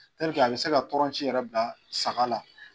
a bɛ se ka tɔrɔnci yɛrɛ bila saga la